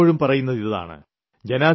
ഞാൻ എപ്പോഴും പറയുന്നതിതാണ്